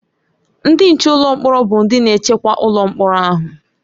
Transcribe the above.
Ndị nche ụlọ mkpọrọ bụ ndị na-echekwa ụlọ mkpọrọ ahụ.